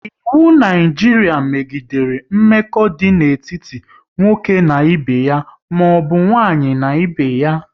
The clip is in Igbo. Iwu Naijiria megidere mmekọ idị n'etiti nwoke na ibe ya maọbụ nwaanyị n'ibé ya